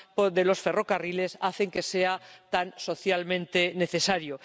de los ferrocarriles hacen que sean tan socialmente necesarios.